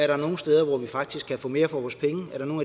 der er nogle steder hvor vi faktisk kan få mere for vores penge om der er nogle